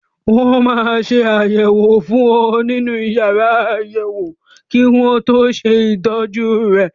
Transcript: Wọ́n máa ṣe àyẹ̀wò fún ọ nínú yàrá àyẹ̀wò kí wọ́n tó ṣe ìtọ́jú rẹ.